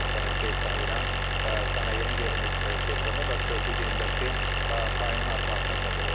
Bu da nəticə etibarilə sənayenin qeyri-neft sektorunda və bütövlükdə ÜDM-dəki payının artmasına səbəb olur.